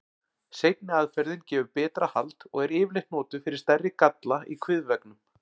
Seinni aðferðin gefur betra hald og er yfirleitt notuð fyrir stærri galla í kviðveggnum.